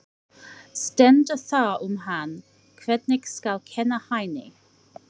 Stendur þar um hann: Hvernig skal kenna Hæni?